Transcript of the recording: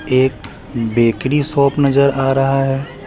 एक bakery shop नजर आ रहा हैं।